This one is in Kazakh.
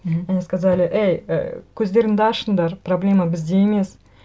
мхм они сказали эй і көздеріңді ашыңдар проблема бізде емес